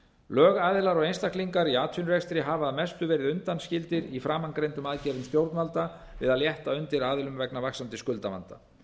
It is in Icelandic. lögaðilar og einstaklingar í atvinnurekstri hafa að mestu verið undanskildir í framangreindum aðgerðum stjórnvalda við að létta undir aðilum vegna vaxandi skuldavanda